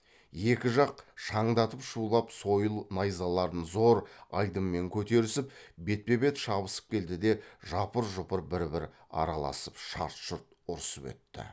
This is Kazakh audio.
екі жақ шаңдатып шулап сойыл найзаларын зор айдынмен көтерісіп бетпе бет шабысып келді де жапыр жұпыр бір бір араласып шарт шұрт ұрысып өтті